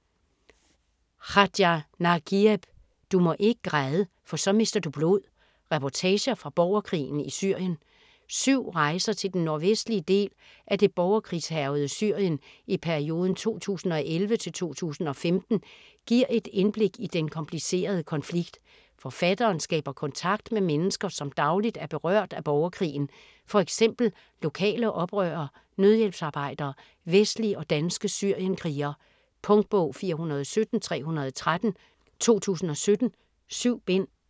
Khaja, Nagieb: Du må ikke græde - for så mister du blod: reportager fra borgerkrigen i Syrien Syv rejser til den nordvestlige del af det borgerkrigshærgede Syrien i perioden 2011-2015 giver et indblik i den komplicerede konflikt. Forfatteren skaber kontakt med mennesker, som dagligt er berørt af borgerkrigen: f.eks. lokale oprørere, nødhjælpsarbejdere, vestlige og danske syrienkrigere. Punktbog 417313 2017. 7 bind.